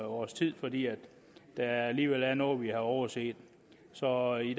års tid fordi der alligevel er noget vi har overset så i